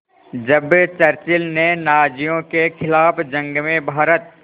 जब चर्चिल ने नाज़ियों के ख़िलाफ़ जंग में भारत